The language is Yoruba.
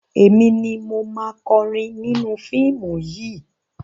Èmi ni mo máa kọrin nínú fíìmù yìí.